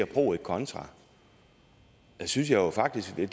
pro et contra synes jeg faktisk vil